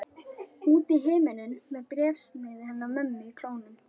Út í himininn með bréfsnifsið hennar mömmu í klónum.